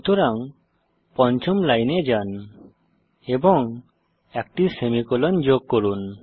সুতরাং পঞ্চম লাইনে যান এবং একটি সেমিকোলন যোগ করুন